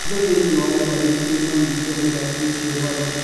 Andũ thĩinĩ wa intaneti-inĩ nĩ maanyitire mũthaki ũcio mbaru.